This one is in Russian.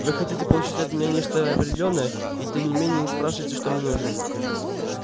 вы хотите получить от меня нечто определённое и тем не менее спрашиваете что мне нужно